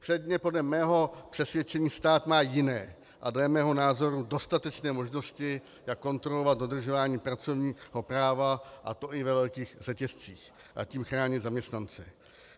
Předně podle mého přesvědčení stát má jiné a dle mého názoru dostatečné možnosti, jak kontrolovat dodržování pracovního práva, a to i ve velkých řetězcích, a tím chránit zaměstnance.